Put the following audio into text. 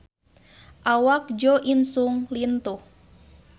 Awak Jo In Sung lintuh